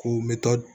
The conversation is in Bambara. K'u m